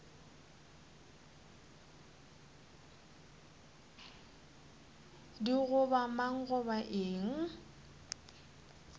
di goba mang goba eng